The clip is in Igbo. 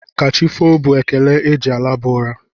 Kachifo bụ ekele e ji a laba ụra.